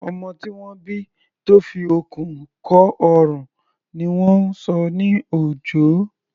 Ọmọ tí wọ́n bí tó fi okùn kọ́ ọrùn ni wọ́n ń sọ ní Òjó.